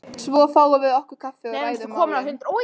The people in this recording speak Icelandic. Svo fáum við okkur kaffi og ræðum málin.